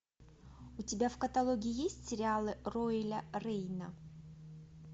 у тебя в каталоге есть сериалы роэля рейна